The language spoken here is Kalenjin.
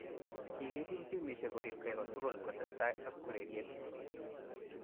Kikikiil timishek koripkee kotukul kotesetai ak ureryeet